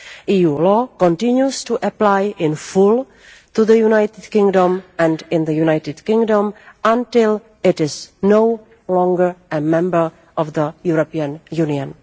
EU law continues to apply in full to the United Kingdom and in the United Kingdom until it is no longer a member of the European Union.